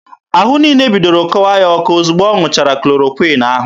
Ahụ niile bidoro kọwa ya ọkọ ozugbo ọ ṅụchara klorokwịn ahụ.